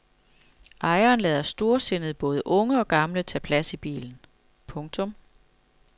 Ejeren lader storsindet både unge og gamle tage plads i bilen. punktum